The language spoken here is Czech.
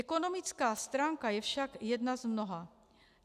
Ekonomická stránka je však jedna z mnoha.